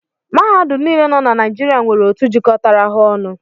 Mahadum niile nọ na Naijiria nwere otu jikọtara ha ọnụ